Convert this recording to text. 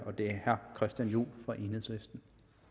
og det er herre christian juhl fra enhedslisten